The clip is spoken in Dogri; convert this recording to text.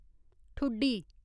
ठुड्डी